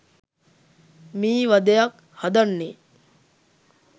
මී වදයක් හදන්නේ